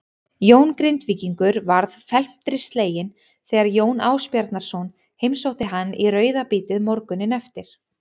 Jón Grindvíkingur varð felmtri sleginn þegar Jón Ásbjarnarson heimsótti hann í rauðabítið morguninn eftir.